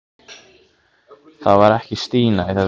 Það var ekki Stína í þetta skipti.